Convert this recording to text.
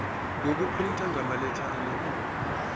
ngokuprinta ngamaletha amakhulu